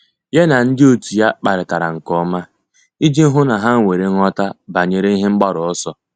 Yá na ndị otu ya kparịtara nke ọma iji hụ́ na há nwere nghọta banyere ihe mgbaru ọsọ.